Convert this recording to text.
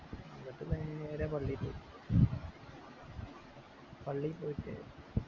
എന്നിട്ട് നേരെ പള്ളി പോയി പള്ളി പോയിട്